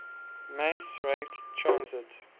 mass rapid transit